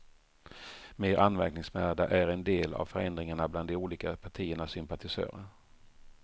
Mer anmärkningsvärda är en del av förändringarna bland de olika partiernas sympatisörer.